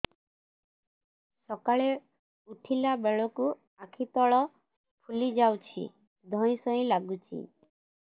ସକାଳେ ଉଠିଲା ବେଳକୁ ଆଖି ତଳ ଫୁଲି ଯାଉଛି ଧଇଁ ସଇଁ ଲାଗୁଚି